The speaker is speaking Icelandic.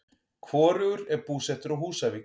Hvorugur er búsettur á Húsavík.